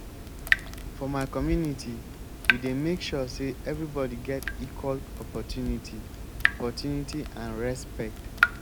for my community we dey make sure sey everybodi get equal opportunity opportunity and respect.